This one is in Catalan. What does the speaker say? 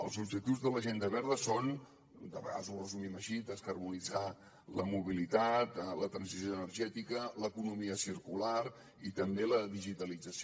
els objectius de l’agenda verda són de vegades ho resumim així descarbonitzar la mobilitat la transició energètica l’economia circular i també la digitalització